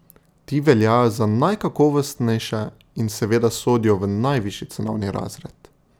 Ti veljajo za najkakovostnejše in seveda sodijo v najvišji cenovni razred.